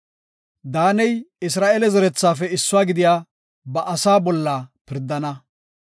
“Daaney Isra7eele zerethafe issuwa gidiya ba asa bolla pirdana.